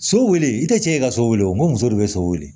So wele i tɛ cɛ ye ka so wele o muso de bɛ so wele